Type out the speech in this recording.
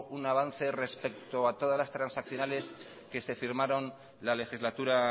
un avance respecto a todas las transaccionales que se firmaron la legislatura